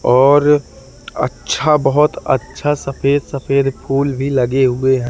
और अच्छा बहुत अच्छा सफ़ेद-सफ़ेद फूल भी लगे हुए हैं।